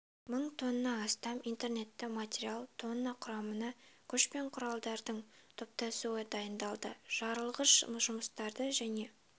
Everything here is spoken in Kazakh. мың тонна астам инертті материал тонна құрамында күш пен құралдардың топтасуы дайындалды жарылғыш жұмыстарды және